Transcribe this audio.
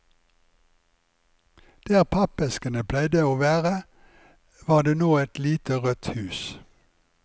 Der pappeskene pleide å være, var det nå et lite rødt hus.